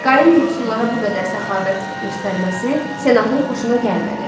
Qayın yoxsullara bu qədər səxavət göstərməsi senatın xoşuna gəlmədi.